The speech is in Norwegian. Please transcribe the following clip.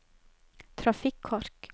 trafikkork